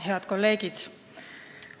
Head kolleegid!